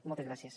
moltes gràcies